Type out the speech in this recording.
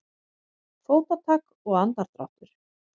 Fótatak og andardráttur.